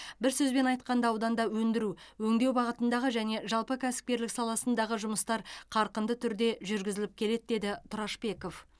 бір сөзбен айтқанда ауданда өндіру өңдеу бағытындағы және жалпы кәсіпкерлік саласындағы жұмыстар қарқынды түрде жүргізіліп келеді деді тұрашбеков